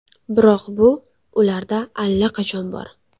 Biroq bu ularda allaqachon bor!